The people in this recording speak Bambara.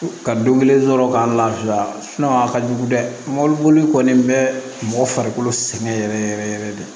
Ka don kelen sɔrɔ k'an lafiya a ka jugu dɛ mɔbili boli kɔni bɛ mɔgɔ farikolo sɛgɛn yɛrɛ yɛrɛ de